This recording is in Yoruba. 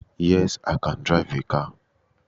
Yes, I can drive a car